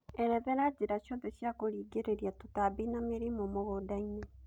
erethera njĩra ciothe cia kurĩngĩrĩria tũtambi na mĩrimũ mũgũnda-inĩ